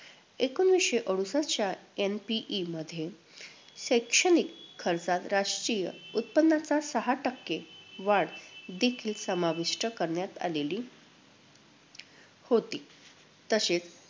एकोणवीसशे अडुसष्ठच्या NPE मध्ये शैक्षणिक खर्चात राष्ट्रीय उत्पन्नाच्या सहा टक्के वाढ देखील समाविष्ट करण्यात आलेली होती, तसेच